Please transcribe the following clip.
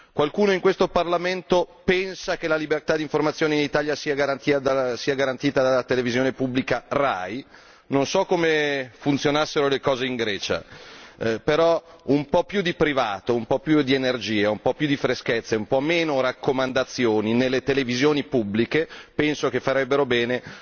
Qualcuno in questo Parlamento pensa che la libertà di informazione in Italia sia garantita dalla televisione pubblica RAI? Non so come funzionassero le cose in Grecia, però un po' più di privato, un po' più di energia, un po' più di freschezza e un po' meno raccomandazioni nelle televisioni pubbliche penso che farebbero bene.